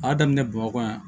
A y'a daminɛ bamakɔ yan